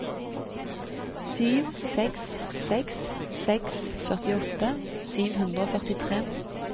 sju seks seks seks førtiåtte sju hundre og førtitre